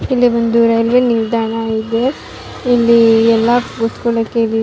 ಇಲ್ಲಿ ಒಂದು ರೈಲ್ವೇ ನಿಲ್ದಾಣ ಇದೆ ಇಲ್ಲಿ ಎಲ್ಲಾ ಕೂತ್ಕೊಳಕ್ಕೆ.